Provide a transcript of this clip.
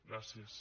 gràcies